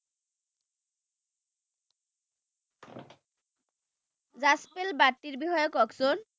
জাৰ্জপিল বাৰ্তিৰ বিষয়ে কওকচোন